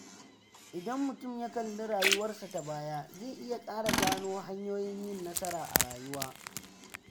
Idan mutum ya kalli rayuwarsa ta baya, zai iya ƙara gano hanyoyin yin nasara a rayuwa.